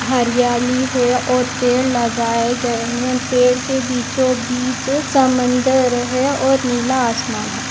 हरियाली है और पेड़ लगाये गये है पेड़ के बीचो बिच समंदर है और नीला आसमान है।